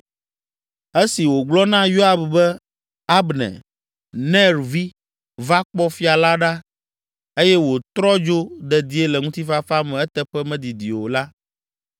Esi wògblɔ na Yoab be Abner, Ner vi, va kpɔ Fia la ɖa eye wòtrɔ dzo dedie le ŋutifafa me eteƒe medidi o la,